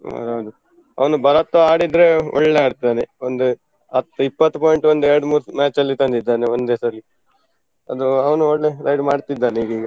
ಹಾ ಹೌದು ಅವನು ಭರತ ಆಡಿದ್ರೆ ಒಳ್ಳೆ ಆಡ್ತಾನೆ. ಒಂದು ಹತ್ತು ಇಪ್ಪತ್ತು point ಒಂದು ಎರಡು ಮೂರು match ಅಲ್ಲಿ ತಂದಿದ್ದಾನೆ ಒಂದೇ ಸರಿ, ಅದು ಅವನು ಒಳ್ಳೆ ride ಮಾಡ್ತಿದ್ದಾನೆ ಈಗ ಈಗ.